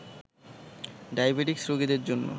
diabetics রোগীদের জন্য